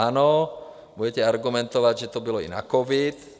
Ano, budete argumentovat, že to bylo i na covid.